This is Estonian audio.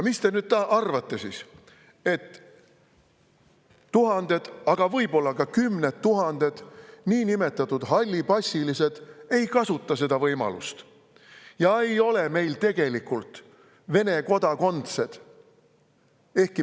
" Kas te nüüd arvate, et tuhanded, aga võib-olla ka kümned tuhanded niinimetatud hallipassilised ei kasuta seda võimalust ja ei ole siis tegelikult Vene kodakondsed?